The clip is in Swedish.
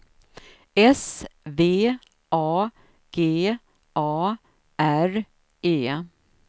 S V A G A R E